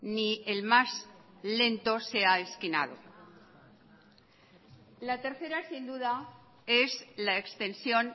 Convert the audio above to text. ni el más lento sea esquinado la tercera sin duda es la extensión